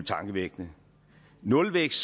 tankevækkende nulvækst